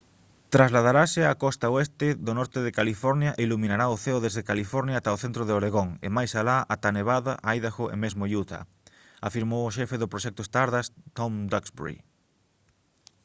«trasladarase á costa oeste do norte de california e iluminará o ceo desde california ata o centro de oregón e máis alá ata nevada idaho e mesmo utah» afirmou o xefe do proxecto stardust tom duxbury